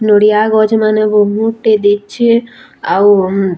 ନଡିଆ ଗଛ୍‌ ମାନେ ବହୁତ୍‌ ଟେ ଦିଶ୍‌ଛେ ଆଉ--